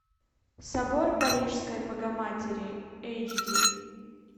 собор парижской богоматери эйч ди